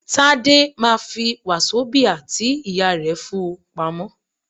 Tádé ma fi wazobia tí ìyá rẹ̀ fún-un pamọ́.